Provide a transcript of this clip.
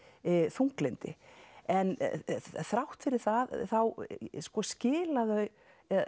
þunglyndi en þrátt fyrir það þá sko skila þau